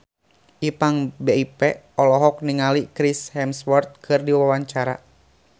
Ipank BIP olohok ningali Chris Hemsworth keur diwawancara